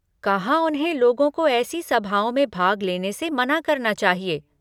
कहाँ उन्हें लोगों को ऐसी सभाओं में भाग लेने से मना करना चाहिए।